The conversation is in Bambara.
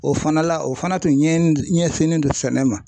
O fana la o fana tun ɲɛ ɲɛsinnen don sɛnɛ ma .